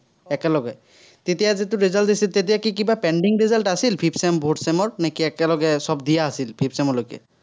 তেতিয়া যিটো result দিছিল, তেতিয়া কি কিবা pending result আছিল, fifth-fourth sem ৰ, নে কি একেলগে সৱ দিয়া আছিল, fifth sem লৈকে?